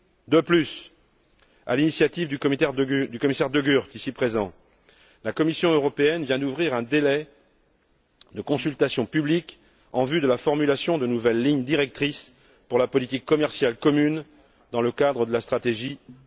De plus, à l'initiative du commissaire De Gucht ici présent, la Commission européenne vient d'ouvrir un délai de consultation publique en vue de la formulation de nouvelles lignes directrices pour la politique commerciale commune, dans le cadre de la stratégie Europe